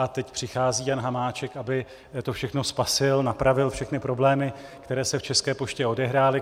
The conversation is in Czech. A teď přichází Jan Hamáček, aby to všechno spasil, napravil všechny problémy, které se v České poště odehrály.